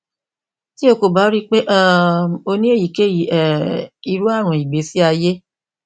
ti o ko ba rii pe um o ni eyikeyi um iru arun igbesi aye